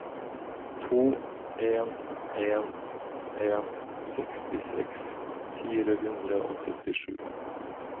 to en en en sekstiseks fire hundre og syttisju